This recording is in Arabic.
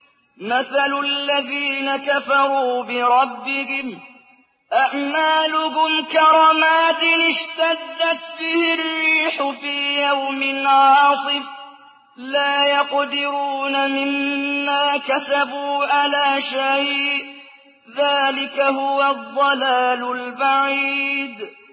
مَّثَلُ الَّذِينَ كَفَرُوا بِرَبِّهِمْ ۖ أَعْمَالُهُمْ كَرَمَادٍ اشْتَدَّتْ بِهِ الرِّيحُ فِي يَوْمٍ عَاصِفٍ ۖ لَّا يَقْدِرُونَ مِمَّا كَسَبُوا عَلَىٰ شَيْءٍ ۚ ذَٰلِكَ هُوَ الضَّلَالُ الْبَعِيدُ